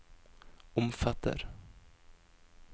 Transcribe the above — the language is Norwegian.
omfatter